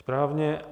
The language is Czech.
Správně.